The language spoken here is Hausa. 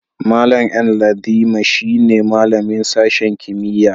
Mallam Ndaliman shine malamin sashen kimiyya'n.